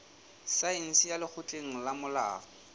saense ya lekgotleng la molao